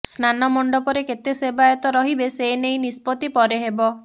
ସ୍ନାନ ମଣ୍ଡପରେ କେତେ ସେବାୟତ ରହିବେ ସେନେଇ ନିଷ୍ପତ୍ତି ପରେ ହେବ